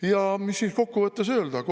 Ja mis siis kokku võttes öelda?